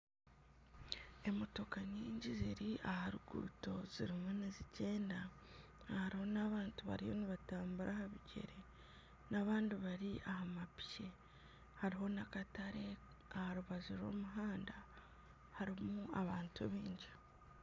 Emotoka nyingi ziri aha ruguuto zirimu nizigyenda harimu n'abantu bariyo nibatambura aha bigyere n'abandi bari aha mapiki hariho n'akatare aha rubaju rw'omuhanda harimu abantu baingi